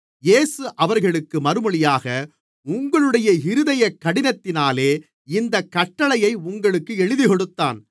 இயேசு அவர்களுக்கு மறுமொழியாக உங்களுடைய இருதயக் கடினத்தினாலே இந்தக் கட்டளையை உங்களுக்கு எழுதிக்கொடுத்தான்